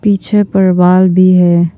पीछे पर वॉल भी है।